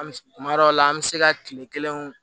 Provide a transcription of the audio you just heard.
An bɛ kuma dɔw la an bɛ se ka kile kelen